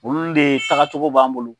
Olu de taaga cogo b'an bolo.